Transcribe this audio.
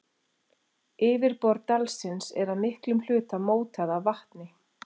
Yfirborð dalsins er að miklum hluta mótað af vatni.